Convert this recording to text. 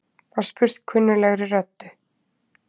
var spurt kunnuglegri röddu.